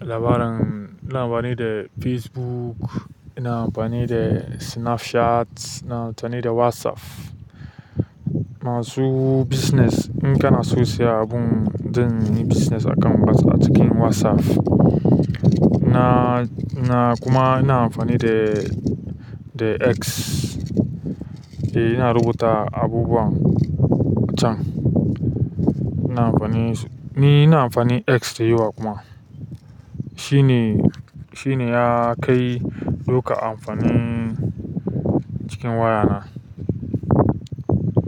labarin, labarin ina amfani da Facebook, ina amfani da Snapchat, ina amfani da WhatsApp. Masu business in kanaso siya abun ɗin business account basu a cikin WhatsApp. Masu business in kanaso siya abun ɗin business account basu a cikin WhatsApp. Ina amfani, ni ina amfani X, dayawa kuma shibe yakai duka amfani cikin wayana.